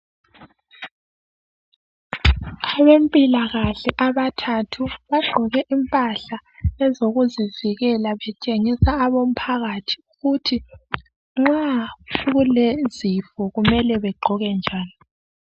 Abezempilakahle abathathu bagqoke impahla ezokuzivikela betshengisa umphakathi ukuthi nxa kulezifo kumele begqoke njani.